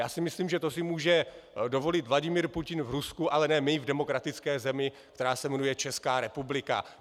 Já si myslím, že to si může dovolit Vladimír Putin v Rusku, ale ne my v demokratické zemi, která se jmenuje Česká republika.